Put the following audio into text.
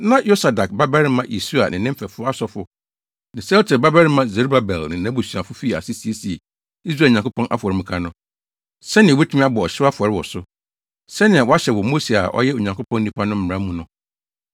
Na Yosadak babarima Yesua ne ne mfɛfo asɔfo ne Sealtiel babarima Serubabel ne nʼabusuafo fii ase siesiee Israel Nyankopɔn afɔremuka no, sɛnea wobetumi abɔ ɔhyew afɔre wɔ so, sɛnea wɔahyɛ wɔ Mose a ɔyɛ Onyankopɔn nipa no mmara mu no.